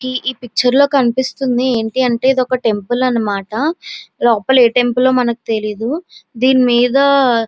ఇ picture లొ కనిపెస్తునది ఎటి అంటే ఇది వక టెంపుల్ అన్న మాట లోపల ఏ టెంపుల్ ఓ మనకి తెలియదు దిని మిద.